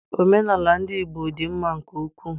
Omenaala ndị Igbo dị mma nke ukwu.